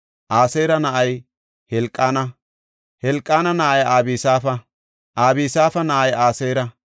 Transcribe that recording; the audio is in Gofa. Aseera na7ay Helqaana; Helqaana na7ay Abisaafa; Abisaafa na7ay Aseera;